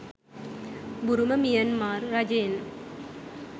බුරුම Myanmar රජයෙන්